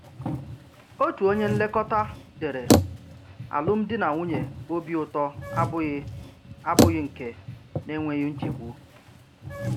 Òtù ònye nlekọta dèrè: Alụmdi na nwunye òbì ùtọ abùghị̀ abùghị̀ nke n’enweghị̀ nchègbu.